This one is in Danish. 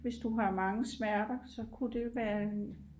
hvis du har mange smerter så kunne det være en